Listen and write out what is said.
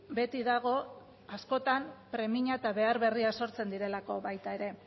beti dago askotan premia eta behar berriak sortzen direlako baita ere